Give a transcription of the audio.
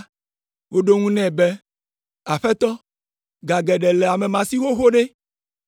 “Woɖo eŋu nɛ be, ‘Aƒetɔ, ga geɖe le ame ma si xoxo ɖe!’